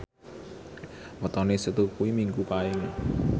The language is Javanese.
wetone Setu kuwi Minggu Paing